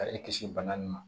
Ka e kisi bana nin ma